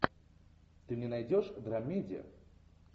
ты мне найдешь драмеди